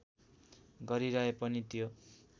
गरिरहे पनि त्यो